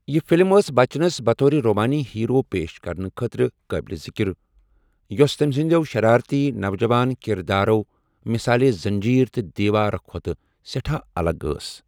یہِ فِلِم ٲس بَچنَس بطورِ رومٲنی ہیٖرو پیش کرنہٕ خٲطرٕ قٲبلہِ ذِکِر، یۄس تٔمہِ سٕنٛدِو 'شَرٲرتی نوجَوان' کِردارو مِثالے زٔنٛجیٖر تہٕ دیٖوار کھۄتہٕ سٮ۪ٹھاہ الگ ٲس۔